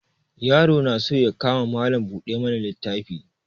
Yaron na so ya kama Mallam buɗe mana littafi.